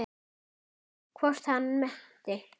Hvort hann nennti.